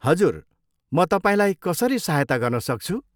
हजुर, म तपाईँलाई कसरी सहायता गर्न सक्छु?